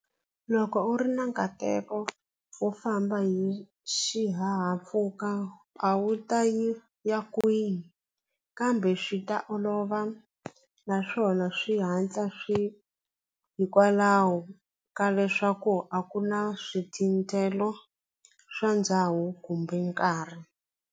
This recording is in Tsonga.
Loko u ri na nkateko wo famba hi xihahampfhuka a wu ta yi ya kwihi kambe swi ta olova naswona swi hatla swi hikwalaho ka leswaku a ku na swithinthelo swa ndhawu kumbe nkarhi.